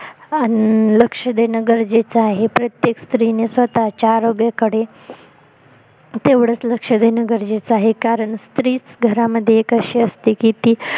लक्ष देणं गरजेच आहे प्रत्येक स्त्रीने स्वतः च्या आरोग्याकडे तेवढचं लक्ष देणं गरजेच आहे कारण स्त्रीच घरामध्ये एक अशी असते की ती